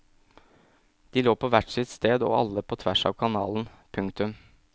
De lå på hvert sitt sted og alle på tvers av kanalen. punktum